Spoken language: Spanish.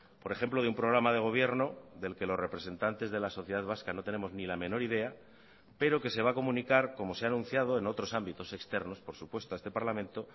por ejemplo de un programa de gobierno del que los representantes de la sociedad vasca no tenemos ni la menor idea pero que se va a comunicar como se ha anunciado en otros ámbitos externos por supuesto a este parlamento